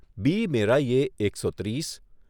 બી. મેરાઈએ એકસો ત્રીસ